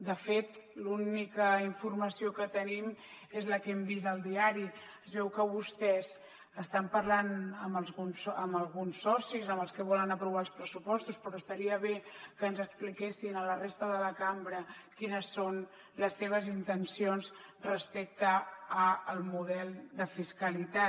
de fet l’única informació que tenim és la que hem vist al diari es veu que vostès estan parlant amb alguns socis amb els que volen aprovar els pressupostos però estaria bé que ens expliquessin a la resta de la cambra quines són les seves intencions respecte al model de fiscalitat